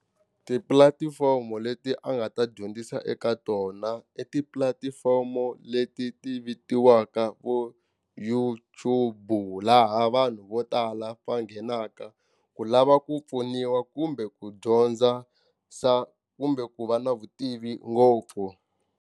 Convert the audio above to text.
Tipulatifomo leti a nga ta dyondzisa eka tona i tipulatifomo leti ti vitiwaka vo YouTube laha vanhu vo tala va nghenaka ku lava ku pfuniwa kumbe ku dyondza kumbe ku va na vutivi ngopfu.